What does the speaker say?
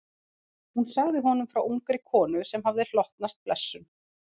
Hún sagði honum frá ungri konu sem hafði hlotnast blessun.